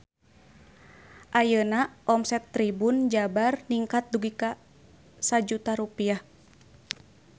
Ayeuna omset Tribun Jabar ningkat dugi ka 1 juta rupiah